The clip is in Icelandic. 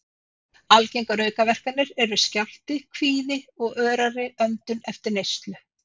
Algengar aukaverkanir eru skjálfti, kvíði og örari öndun eftir neyslu.